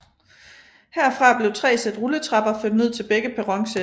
Herfra blev tre sæt rulletrapper ført ned til begge perronsæt